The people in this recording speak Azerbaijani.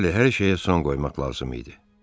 Bəli, hər şeyə son qoymaq lazım idi.